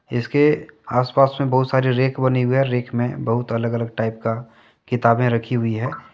इसके आसपास में बहुत सारे रेक बनी हुई है रेक में बहुत अलग अलग टाइप का किताबें रखी हुई है।